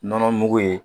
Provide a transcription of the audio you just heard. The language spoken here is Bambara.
Nɔnɔ mugu ye